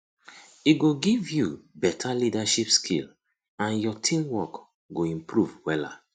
e go give yu beta leadership skill and yur teamwork go improve wella